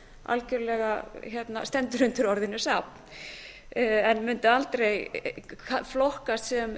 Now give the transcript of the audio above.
algjörlega stendur undir orðinu safn en mundi aldrei flokkast sem